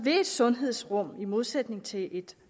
et sundhedsrum i modsætning til et